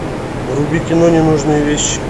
вруби кино ненужные вещи